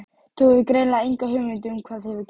Þú hefur greinilega enga hugmynd um hvað hefur gerst.